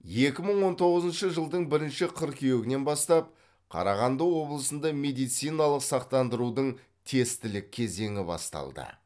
екі мың он тоғызыншы жылдың бірінші қыркүйегінен бастап қарағанды облысында медициналық сақтандырудың тестілік кезеңі басталды